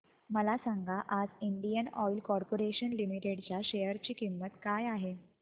मला सांगा आज इंडियन ऑइल कॉर्पोरेशन लिमिटेड च्या शेअर ची किंमत काय आहे